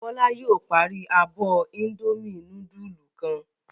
Bọ́lá yóò parí abọ́ Indomie núdúlù kan.